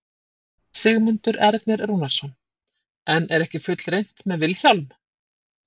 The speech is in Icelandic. Sigmundur Ernir Rúnarsson: En er ekki fullreynt með Vilhjálm?